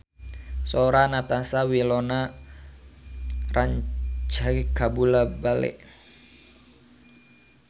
Sora Natasha Wilona rancage kabula-bale